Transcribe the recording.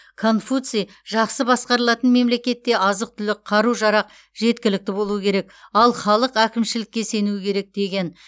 конфуций жақсы басқарылатын мемлекетте азық түлік қару жарақ жеткілікті болуы керек ал халық әкімшілікке сенуі керек деген